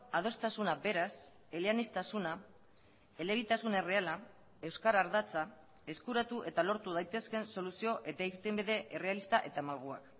adostasuna beraz eleaniztasuna elebitasun erreala euskara ardatza eskuratu eta lortu daitezkeen soluzio eta irtenbide errealista eta malguak